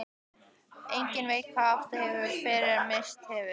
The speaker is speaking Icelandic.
Enginn veit hvað átt hefur fyrr en misst hefur.